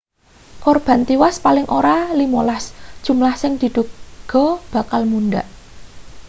korban tiwas paling ora 15 jumlah sing diduga bakal mundhak